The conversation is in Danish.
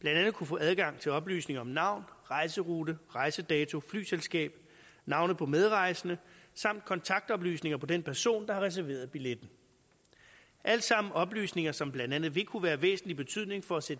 blandt andet kunne få adgang til oplysninger om navn rejserute rejsedato flyselskab navne på medrejsende samt kontaktoplysninger på den person der har reserveret billetten alt sammen oplysninger som blandt andet vil kunne være af væsentlig betydning for at sætte